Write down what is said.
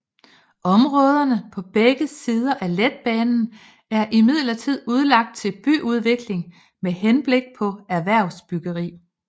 Områderne på begge sider af letbanen er imidlertid udlagt til byudvikling med henblik på erhvervsbyggeri